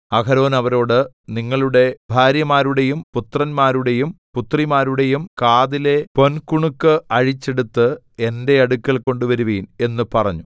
അഹരോൻ അവരോട് നിങ്ങളുടെ ഭാര്യമാരുടെയും പുത്രന്മാരുടെയും പുത്രിമാരുടെയും കാതിലെ പൊൻകുണുക്ക് അഴിച്ച് എടുത്ത് എന്റെ അടുക്കൽ കൊണ്ടുവരുവിൻ എന്ന് പറഞ്ഞു